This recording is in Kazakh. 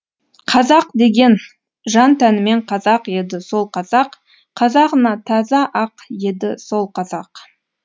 қазақ деген жан тәнімен қазақ еді сол қазақ қазағына таза ақ еді сол қазақ